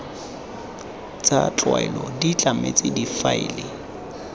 tsa tlwaelo di tlametswe difaele